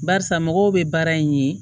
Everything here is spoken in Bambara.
Barisa mɔgɔw bɛ baara in ye